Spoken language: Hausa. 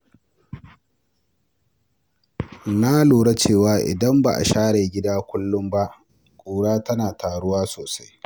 Na lura cewa idan ba a share gida kullum ba, ƙura tana taruwa sosai.